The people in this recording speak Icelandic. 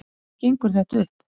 Hvernig gengur þetta upp?